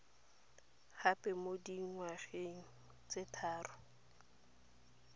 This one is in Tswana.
gape mo dingwgeng tse tharo